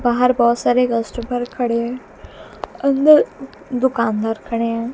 बाहर बहोत सारे कस्टमर खड़े अंदर दुकानदार खड़े हैं।